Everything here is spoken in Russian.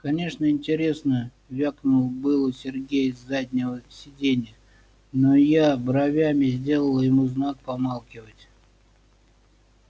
конечно интересно вякнул было сергей с заднего сидения но я бровями сделала ему знак помалкивать